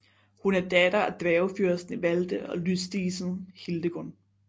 Hun er datter af dværgefyrsten Ivalde og lysdisen Hildegun